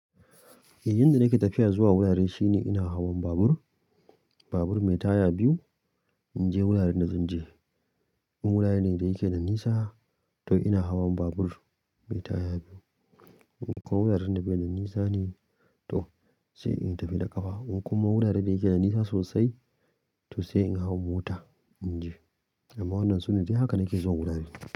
Yanda nake tafiya zuwa wurare shine ina hawan babur, babur mai taya biyu in je wuraren da zan je. In wurare ne da yake nan nisa to ina hawan babur mai taya biyu. In kuma wuraren da baida nisa ne, to sai inyi tafiya da kafa. In kuma wuraren da yake nan nisa sosai to sai in hawo mota in je. Amma wannan sune dai haka nake zuwa wurare.